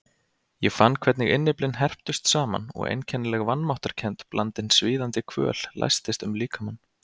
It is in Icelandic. Ég fann hvernig innyflin herptust saman og einkennileg vanmáttarkennd blandin svíðandi kvöl læstist um líkamann.